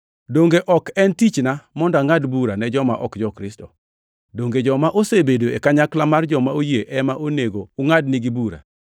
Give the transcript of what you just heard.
Donge ok en tichna mondo angʼad bura ne joma ok jo-Kristo? Donge joma osebedo e kanyakla mar joma oyie ema onego ungʼadnigi bura?